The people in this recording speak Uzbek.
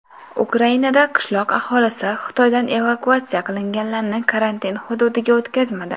Ukrainada qishloq aholisi Xitoydan evakuatsiya qilinganlarni karantin hududiga o‘tkazmadi.